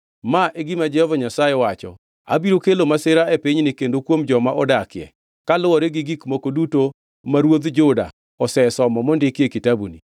‘Ma e gima Jehova Nyasaye wacho: Abiro kelo masira e pinyni kendo kuom joma odakie, kaluwore gi gik moko duto ma ruodh Juda osesomo mondiki e kitabuni.